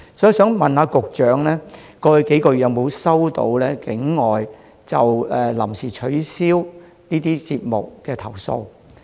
我想問局長，過去數月有否收到境外就臨時取消節目的投訴？